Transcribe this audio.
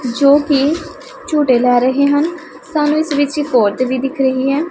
ਜੋ ਕਿ ਝੂੰਟੇ ਲਏ ਰਹੇ ਹਨ ਸਾਨੂੰ ਇਸ ਵਿੱਚ ਇੱਕ ਔਰਤ ਵੀ ਦਿਖ ਰਹੀ ਹੈ।